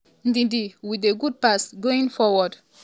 ndidi wit di good pass going forward.